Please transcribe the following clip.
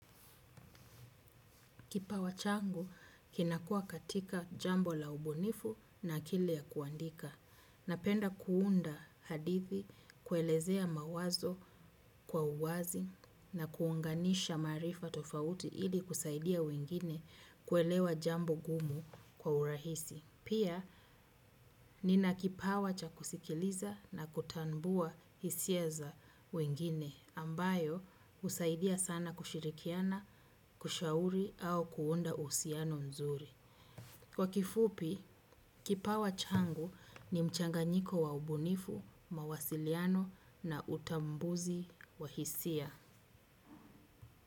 Kipawa changu kinakuwa katika jambo la ubunifu na akili ya kuandika. Napenda kuunda hadithi, kuelezea mawazo kwa uwazi na kuunganisha maarifa tofauti ili kusaidia wengine kuelewa jambo gumu kwa urahisi. Pia, nina kipawa cha kusikiliza na kutambua hisia za wengine ambayo husaidia sana kushirikiana, kushauri au kuunda uhusiano mzuri. Kwa kifupi, kipawa changu ni mchanganyiko wa ubunifu, mawasiliano na utambuzi wa hisia.